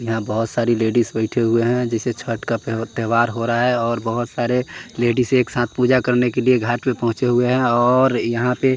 यहां बहोत सारी लेडिस बैठे हुए हैं जैसे छठ का त्यौहार हो रहा है और बहोत सारे लेडिस एक साथ पूजा करने के लिए घाट पे पहुंचे हुए हैं और यहां पे--